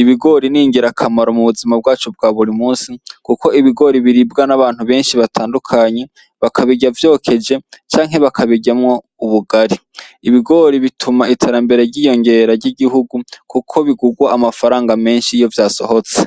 ibigori ningira akamaro mu buzima bwacu bwa buri musi, kuko ibigori biribwa n'abantu benshi batandukanyi bakabirya vyokeje canke bakabiryamwo ubugari ibigori bituma iterambere ryiyongera ry'igihugu, kuko bigurwa amafaranga menshi iyovya basohotse.